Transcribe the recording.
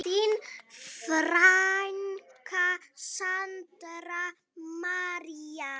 Þín frænka, Sandra María.